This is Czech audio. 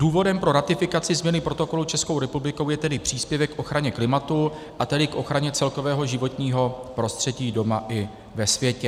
Důvodem pro ratifikaci změny protokolu Českou republikou je tedy příspěvek k ochraně klimatu, a tedy k ochraně celkového životního prostředí doma i ve světě.